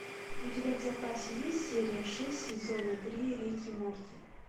у тебя в запасе есть серия шесть сезона три рик и морти